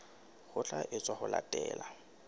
ho tla etswa ho latela